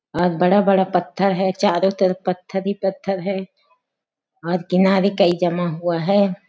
और बड़ा-बड़ा पत्थर है चारों तरफ पत्थर ही पत्थर है और किनारे काई जमा हुआ हैं ।